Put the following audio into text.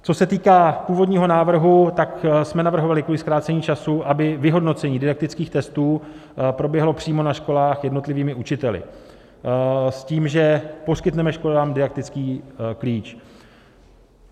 Co se týká původního návrhu, tak jsme navrhovali kvůli zkrácení času, aby vyhodnocení didaktických testů proběhlo přímo na školách jednotlivými učiteli s tím, že poskytneme školám didaktický klíč.